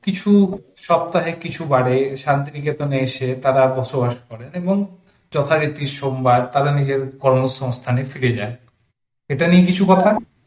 কিছু সপ্তাহে কিছু বারে শান্তিনিকেতন এসে তারা বসবাস করেন এবং যথারীতি সোমবার তাদের নিজেদের কর্মসংস্থানে ফিরে যায় এটা নিয়ে কিছু কথা